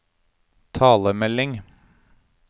talemelding